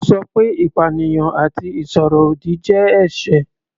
Ó sọ pé ìpanìyàn àti ìsọ̀rọ̀ ọ̀dì jẹ́ ẹ̀ṣẹ̀.